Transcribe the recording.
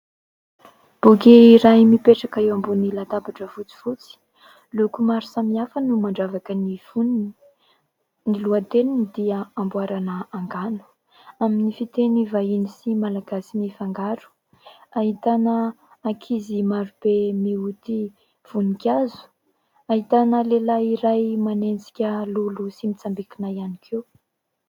Boky iray mipetraka eo ambonin'ny latabatra fotsifotsy. Loko maro samihafa no mandravaka ny fonony. Ny lohateniny dia Amboarana angano. Amin'ny fiteny vahiny sy malagasy mifangaro. Ahitana ankizy marobe mioty voninkazo, ahitana lehilahy iray manenjika lolo sy mitsambikina ihany koa.